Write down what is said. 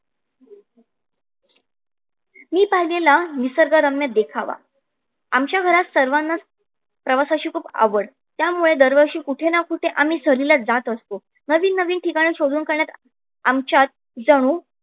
मी पाहिलेला निसर्ग रम्य देखावा आमच्या घरात सर्वांनाच प्रवासाची खूप आवडल त्यामुळे दर वर्षी कुठे ना कुठे आम्ही सहलीला जात असतो. नव नवीन ठिकाण शोधून काढण्यात आमच्यात जणू